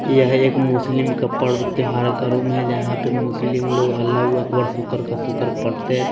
यह एक मुस्लिम का पर्व त्यौहार का रूम है यहां पे मुस्लिम लोग अल्लाह हू अकबर शुक्र का शुक्र पढ़ते हैं।